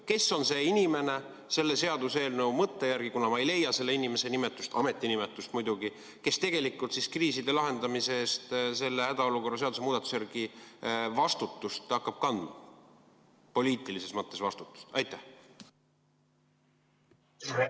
Kes on selle seaduseelnõu mõtte järgi see inimene – ma ei leia siit selle inimese ametinimetust –, kes tegelikult kriiside lahendamise eest selle hädaolukorra seaduse muudatuse kohaselt poliitilises mõttes vastutust hakkab kandma?